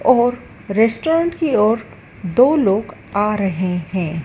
और रेस्टोरेंट की और दो लोग आ रहे हैं।